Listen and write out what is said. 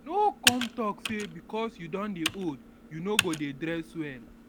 no come talk sey because you don dey old you no go dey dress well